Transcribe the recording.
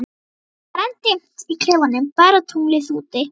Það var enn dimmt í klefanum, bara tunglið úti.